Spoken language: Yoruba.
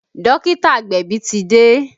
Dókítà agbẹ̀bí ti dé